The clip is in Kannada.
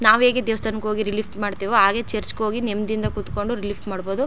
ನಾವು ಹೇಗೆ ದೇವಸ್ಥಾನಕ್ಕೆ ಹೋಗಿ ರಿಲೀಫ್ ಮಾಡತಿಓ ಹಾಗೆ ಚರ್ಚ್ ಗೆ ಹೋಗಿ ನೆಮ್ಮದಿಯಿಂದ ಕುತ್ ಕೊಂಡು ರಿಲೀಫ್ ಮಾಡಬಹುದು.